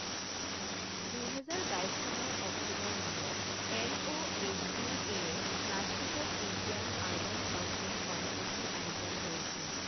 দুহেজাৰ বাইছ চনৰ অক্টোবৰ মাহত, এমঅএইচইউএ য়ে ৰাজকোটত ইণ্ডিয়ান আৰ্বান হাউছিং কনক্লেভ ৰ আয়োজন কৰিছিল।